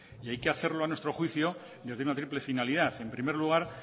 hay que hacerlo a nuestro juicio desde una triple finalidad en primer lugar